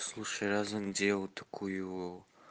слушай раз он делал такую